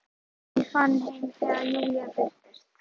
Mamma var nýfarin heim þegar Júlía birtist.